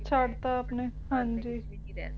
ਛੱਡਤਾ ਆਪਣੇ ਹਾਂਜੀ ਕੇ ਮੈਂ ਆਪਦੇ ਘਰ ਵਿੱਚ ਵੀ ਨਹੀਂ ਰਹਿ